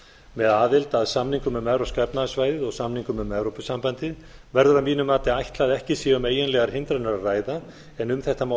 með aðild að samningum um evrópska efnahagssvæðið og samningum um evrópusambandið verður að mínu mati að ætla að ekki sé um eiginlegar hindranir að ræða en um þetta má